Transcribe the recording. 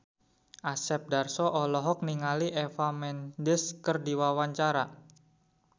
Asep Darso olohok ningali Eva Mendes keur diwawancara